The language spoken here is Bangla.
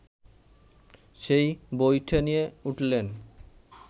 সেই বৈঠা নিয়ে উঠলেন